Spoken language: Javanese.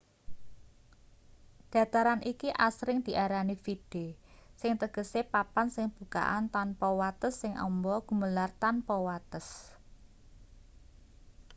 dataran iki asring diarani vidde sing tegese papan sing bukakan tanpa wates sing amba gumelar tanpa wates